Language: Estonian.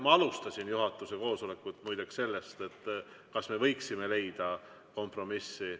Ma alustasin juhatuse koosolekut muideks sellest, kas me võiksime leida kompromissi.